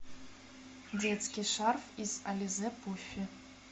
детский шарф из ализе пуффи